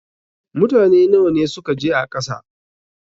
Mutane nawa ne suka je a ƙasa?